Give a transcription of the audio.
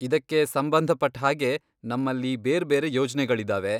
ಇದಕ್ಕೆ ಸಂಬಂಧಪಟ್ಟ್ ಹಾಗೆ ನಮ್ಮಲ್ಲಿ ಬೇರ್ಬೇರೆ ಯೋಜ್ನೆಗಳಿದಾವೆ.